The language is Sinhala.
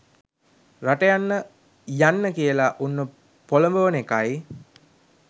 රට යන්න යන්න කියලා උන්ව පොලඹවන එකයි